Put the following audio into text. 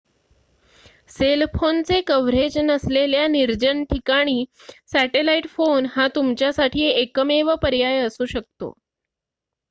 sale फोनचे coverage नसलेल्या निर्जन ठिकाणी सॅटेलाइट फोन हा तुमच्यासाठी एकमेव पर्याय असू शकतो